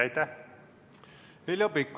Heljo Pikhof, palun!